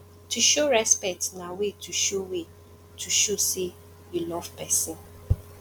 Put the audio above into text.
to show respect na way to show way to show say you love persin